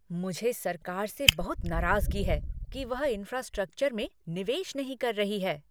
मुझे सरकार से बहुत नाराजगी है कि वह इंफ्रास्ट्रक्चर में निवेश नहीं कर रही है।